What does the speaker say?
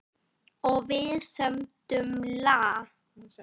Og við sömdum lag.